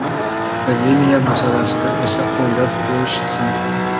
Akademiya masalasida esa o‘ylab ko‘rishsin.